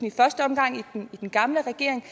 i første omgang i den gamle regering